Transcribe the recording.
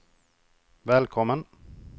välkommen